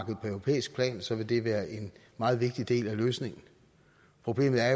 på europæisk plan så vil det være en meget vigtig del af løsningen problemet er